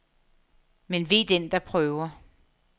Men ve den, der prøver.